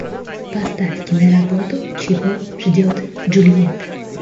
поставь киноработу чего ждет джульетта